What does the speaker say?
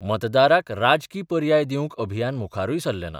मतदाराक राजकी पर्याय दिवंक अभियान मुखारूय सरलें ना.